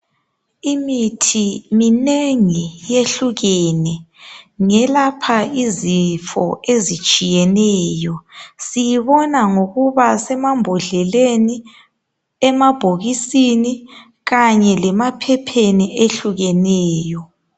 Imithi minengi yehlukene, ngelapha izifo ezitshiyeneyo siyibona ngokubasemambodleleni, emabhokisini kanye lemaphepheni ehlukeneyo.